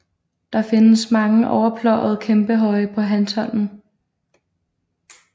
Der findes mange overpløjede kæmpehøje på Hanstholmen